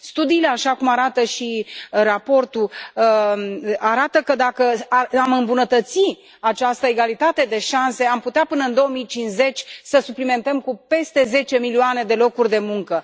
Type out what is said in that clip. Studiile, așa cum arată și raportul, arată că, dacă am îmbunătăți această egalitate de șanse, am putea, până în 2050, să suplimentăm cu peste zece milioane de locuri de muncă.